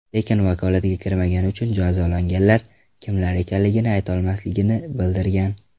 Lekin vakolatiga kirmagani uchun jazolanganlar kimlar ekanligini aytolmasligini bildirgan.